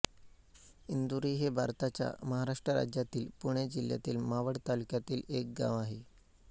इंदुरी हे भारताच्या महाराष्ट्र राज्यातील पुणे जिल्ह्यातील मावळ तालुक्यातील एक गाव आहे